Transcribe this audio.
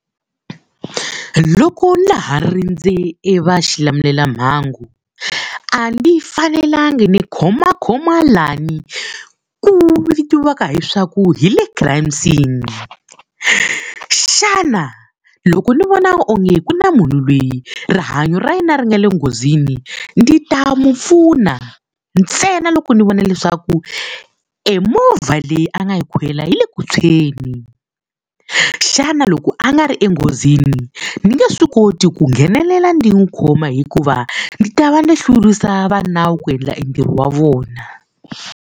Loko na laha rindze e va xilamulelamhangu, a ni fanelanga ni khomakhoma laha ku vitiwaka leswaku hi le crime scene. Xana loko ni vona onge ku na munhu loyi rihanyo ra yena ri nga le nghozini, ni ta n'wi pfuna ntsena loko ni vona leswaku emovha leyi a nga yi kwela yi le ku tshweni. Xana loko a nga ri enghozini, ni nge swi koti ku nghenelela ndzi n'wi khoma hikuva ndzi ta va ni hlurisa va nawu ku endla entirho wa vona.